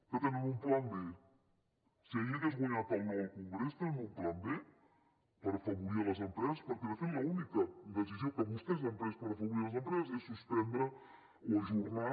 que tenen un pla b si hagués guanyat el no al congrés tenen un pla b per afavorir les empreses perquè de fet l’única decisió que vostès han pres per afavorir les empreses és suspendre o ajornar